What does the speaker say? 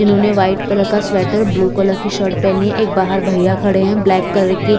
इन्होंने white colour का sweater blue colour की शर्ट पहनी एक बाहर भईया खड़े है ब्लैक कलर की--